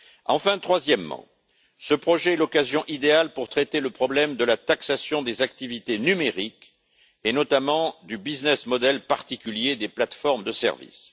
Enfin, troisièmement, ce projet est l'occasion idéale de traiter le problème de la taxation des activités numériques et, notamment du modèle économique particulier des plateformes de services.